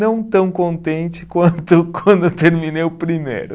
Não tão contente quanto quando terminei o primeiro.